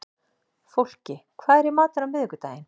Fólki, hvað er í matinn á miðvikudaginn?